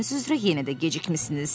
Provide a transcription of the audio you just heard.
Adətiniz üzrə yenə də gecikmisiniz.